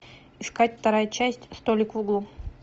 искать вторая часть столик в углу